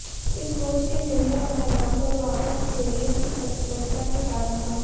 इस कोच के निर्णय और मैदान पर वापस एरियल की तत्परता के कारण था